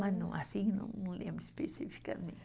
Mas não, assim não, não lembro especificamente.